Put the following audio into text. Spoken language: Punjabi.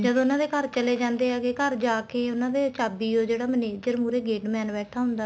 ਜਦੋਂ ਉਹਨਾ ਦੇ ਘਰ ਚੱਲੇ ਜਾਂਦੇ ਹੈਗੇ ਘਰ ਜਾਕੇ ਉਹਨਾ ਦੇ ਚਾਬੀ ਉਹ ਜਿਹੜਾ manager ਮੁਹਰੇ gate man ਬੈਠਾ ਹੁੰਦਾ